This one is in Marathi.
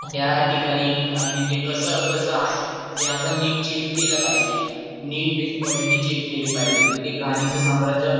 त्या ठिकाणी तिथे कस आहे ते आपण निश्चित केल पाहिजे नीट क्वालिटी चेक केली पाहिजे तिथे घाणीचे साम्राज्य आहे का